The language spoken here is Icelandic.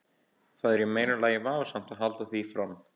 Það er í meira lagi vafasamt að halda því fram.